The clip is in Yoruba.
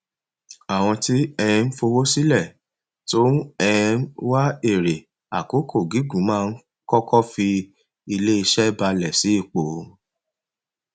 àwọn tí um ń fowó sílẹ tó ń um wá èrè àkókò gígùn máa ń kọkọ fi iléiṣẹ bálẹ sí ipò